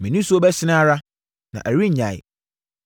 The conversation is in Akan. Me nisuo bɛsene ara, na ɛrennyae,